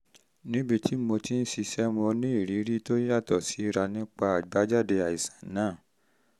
níbi tí mo ti ń ṣiṣẹ́ mo ní ìrírí tó yàtọ̀ síra nípa àbájáde àìsàn náà